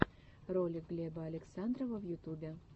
ролик глеба александрова в ютубе